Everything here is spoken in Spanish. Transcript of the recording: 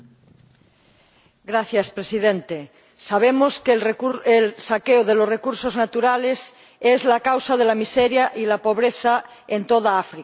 Señor Presidente, sabemos que el saqueo de los recursos naturales es la causa de la miseria y la pobreza en toda África.